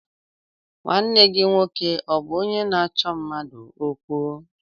Nwanne gị nwoke ọ bụ onye na-achọ mmadụ okwu?